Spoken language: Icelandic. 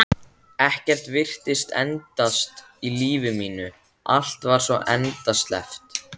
Ekkert virtist endast í lífi mínu, allt var svo endasleppt.